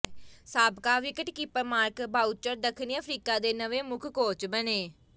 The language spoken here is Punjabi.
ਸਾਬਕਾ ਵਿਕਟਕੀਪਰ ਮਾਰਕ ਬਾਊਚਰ ਦੱਖਣੀ ਅਫ਼ਰੀਕਾ ਦੇ ਨਵੇਂ ਮੁੱਖ ਕੋਚ ਬਣੇ